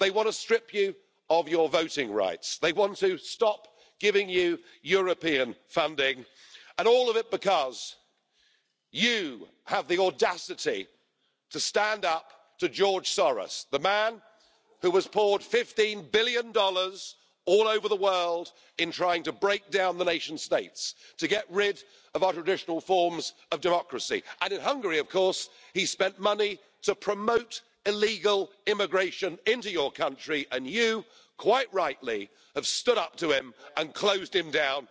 They want to strip you of your voting rights, they want to stop giving you European funding, and all of it because you have the audacity to stand up to George Soros, the man who has poured USD 15 billion all over the world in trying to break down the nation states and to get rid of our traditional forms of democracy. In Hungary he spent money to promote illegal immigration into your country and you, quite rightly, have stood up to him and closed him down.